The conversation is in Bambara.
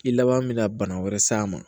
I laban min na bana wɛrɛ s'a ma